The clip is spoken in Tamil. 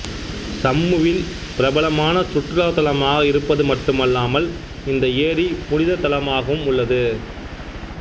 சம்முவில் பிரபலமான சுற்றுலா தலமாகத் இருப்பது மட்டுமல்லாமல் இந்த ஏரி புனித தளமாகவும் உள்ளது